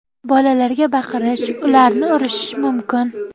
Bolalarga baqirish, ularni urishish mumkin.